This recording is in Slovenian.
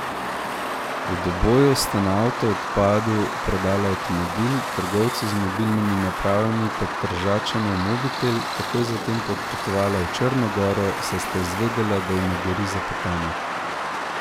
V Doboju sta na avto odpadu prodala avtomobil, trgovcu z mobilnimi napravami pa Tržačanov mobitel, takoj zatem sta odpotovala v Črno goro, saj sta izvedela, da jima gori za petami.